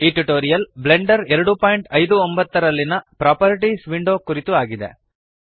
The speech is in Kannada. ಈ ಟ್ಯುಟೋರಿಯಲ್ ಬ್ಲೆಂಡರ್ 259 ರಲ್ಲಿನ ಪ್ರಾಪರ್ಟೀಸ್ ವಿಂಡೋ ಕುರಿತು ಆಗಿದೆ